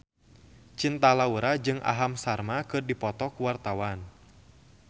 Cinta Laura jeung Aham Sharma keur dipoto ku wartawan